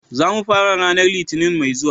Za mu fara ranar Litinin mai zuwa.